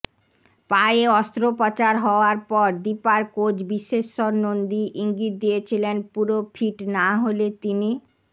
পায়ে অস্ত্রোপচার হওয়ার পর দীপার কোচ বিশ্বেশ্বর নন্দী ইঙ্গিত দিয়েছিলেন পুরো ফিট না হলে তিনি